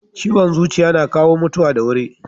Ciwon zuciya na kawo mutuwa da wuri.